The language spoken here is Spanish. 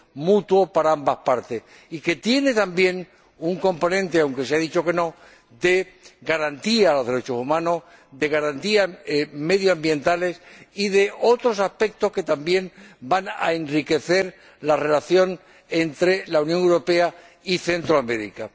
mutuo para ambas partes y que tiene también un componente —aunque se haya dicho que no— de garantía de los derechos humanos, de garantía medioambiental y de otros aspectos que también van a enriquecer la relación entre la Unión Europea y Centroamérica.